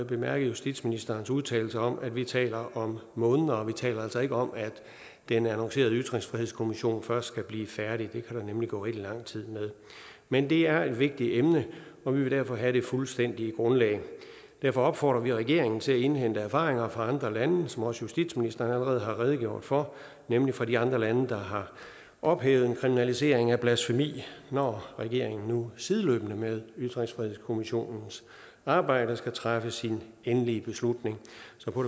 bemærket justitsministerens udtalelser om at vi taler om måneder vi taler altså ikke om at den annoncerede ytringsfrihedskommission først skal blive færdig det kan der nemlig gå rigtig lang tid med men det er et vigtigt emne og vi vil derfor have det fuldstændige grundlag derfor opfordrer vi regeringen til at indhente erfaringer fra andre lande som også justitsministeren allerede har redegjort for nemlig fra de andre lande der har ophævet en kriminalisering af blasfemi når regeringen nu sideløbende med ytringsfrihedskommissionens arbejde skal træffe sin endelige beslutning så på